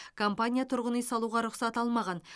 компания тұрғын үй салуға рұқсат алмаған